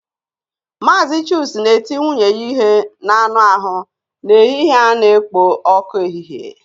Mazị chuks na-eti nwunye ya ihe n'anụ ahụ n'ehihie a na-ekpo ọkụ efife.